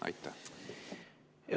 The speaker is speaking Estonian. Aitäh!